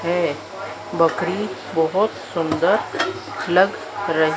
है। बकरी बहुत सुंदर लग रही--